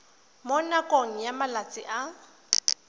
mo nakong ya malatsi a